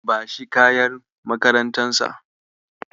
Bashi kayan makarantarsa.